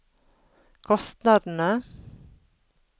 kostnadene